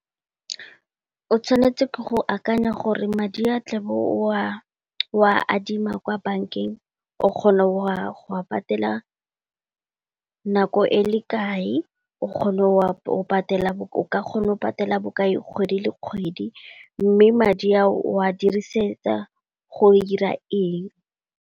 O tshwanetse ke go akanya gore madi a tla bo o a adima kwa bankeng, o kgona go a patela nako e le kae, o ka kgona go patela bokae kgwedi le kgwedi, mme madi a o a dirisetsa go ira eng.